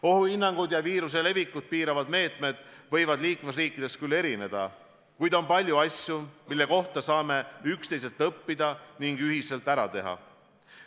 Ohuhinnangud ja viiruse levikut piiravad meetmed võivad liikmesriikides küll erineda, kuid on palju asju, mida saame üksteiselt õppida ning ühiselt ära teha.